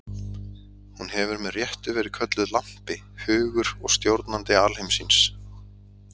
Hún hefur með réttu verið kölluð lampi, hugur og stjórnandi alheimsins.